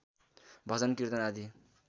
भजन किर्तन आदि